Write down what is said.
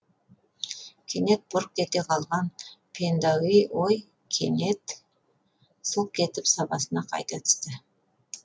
кенет бұрқ ете қалған пендауи ой кенет сылқ етіп сабасына қайта түсті